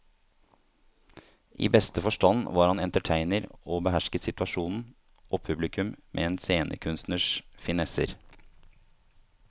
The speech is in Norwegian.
I beste forstand var han entertainer og behersket situasjonen og publikum med en scenekunstners finesser.